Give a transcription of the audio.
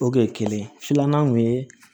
O kun ye kelen ye filanan kun ye